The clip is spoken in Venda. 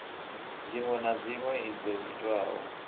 dziṅwe na dziṅwe dzo itwaho